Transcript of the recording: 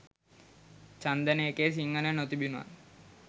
චන්දන එකේ සිංහල නොතිබුනත්